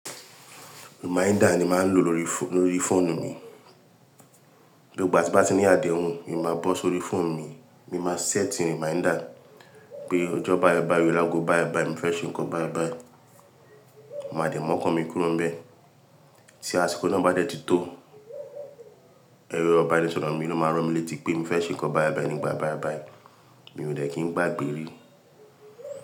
Reminder ni màá ń lò lórí fó- lórí fóònù mi. Gbigba tí n bá ti ní àdéhùn, èmi máa bọ́ sórí fóònù mi, mi máa set reminder pé ọjọ́ báìbàì, lágo báìbàì, mo fẹ́ ṣe nǹkan báìbàì. Mo máa dẹ mọ́kàn mi kúrò níbẹ̀. Tí àsìkò náà bá dẹ ti tó, ẹrọ ibanísọrọ̀ mi ló máa ran mí létí pé mo fẹ́ ṣe nǹkan báìbàì nígbà báìbàì, mi ò ní lè kí n gbàgbé rí.